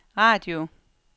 radio